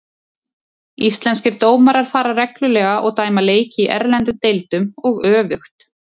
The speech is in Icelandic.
Íslenskir dómarar fara reglulega og dæma leiki í erlendum deildum og öfugt.